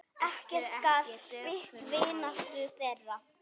Ekkert gat spillt vináttu þeirra.